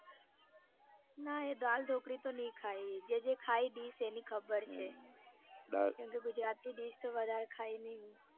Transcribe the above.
ના એ દાળ ઢોકળી તો નઈ ખાઈ જે જે ખાઈ dish એની ખબર છે કેમ કે ગુજરાતી dish તો વધારે ખાઈ નાઈ હું